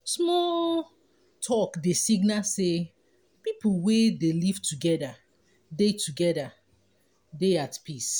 small talk dey signal sey pipo wey dey live together dey together dey at peace